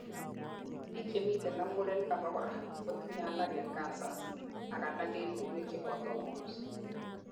biik chemiten ak murenik abakora kotinyei alak en cancers ak alak en uinwek cheboto hormones